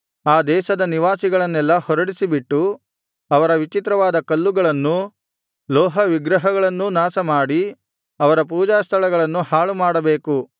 ಆ ದೇಶದ ನಿವಾಸಿಗಳನ್ನೆಲ್ಲಾ ಹೊರಡಿಸಿಬಿಟ್ಟು ಅವರ ವಿಚಿತ್ರವಾದ ಕಲ್ಲುಗಳನ್ನೂ ಲೋಹವಿಗ್ರಹಗಳನ್ನೂ ನಾಶಮಾಡಿ ಅವರ ಪೂಜಾಸ್ಥಳಗಳನ್ನು ಹಾಳುಮಾಡಬೇಕು